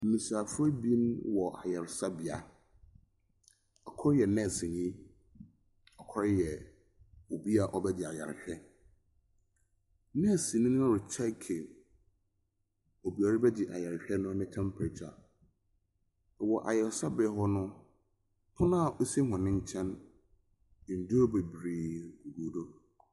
Besiafo abien wɔ ayaresabea. Ɔkoro yɛ nɛsenni, ɔkoro yɛ obi a ɔbɛgye ayarehwɛ. Nɛsenni no rekyeki obi a ɔbɛgye ayarehwɛ no ne tɛmpirekya. Wɔ ayaresabea hɔ no, pono a osi wɔn nkyɛn, nnuro bebree gu do.